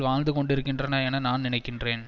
வாழ்ந்துகொண்டிருக்கின்றன என நான் நினைக்கின்றேன்